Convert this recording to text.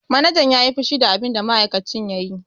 Manajan ya yi fushi da abinda ma'aikacin ya yi.